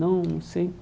Não, não sei.